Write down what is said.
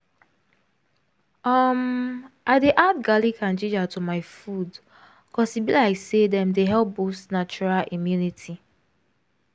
umm i dey add garlic and ginger to my food cause e be like say dem dey help boost natural immunity